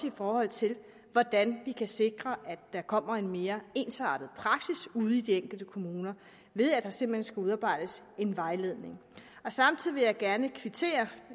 i forhold til hvordan vi kan sikre at der kommer en mere ensartet praksis ude i de enkelte kommuner ved at der simpelt hen skal udarbejdes en vejledning samtidig vil jeg gerne kvittere